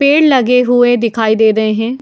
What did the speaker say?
पेड़ लगे हुएदिखाई दे रहे हैं ।